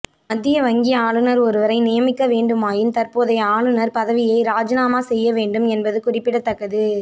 மத்திய வங்கி ஆளுனர் ஒருவரை நியமிக்க வேண்டுமாயின் தற்போதைய ஆளுனர் பதவியை ராஜினாமா செய்ய வேண்டும் என்பது குறிப்பிடத்தக்கது